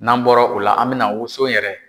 N'an bɔra u la an bɛ na woson yɛrɛ